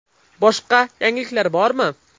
Boshqa yangiliklar bormi?